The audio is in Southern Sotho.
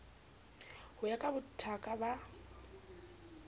ho ya ka bothaka ba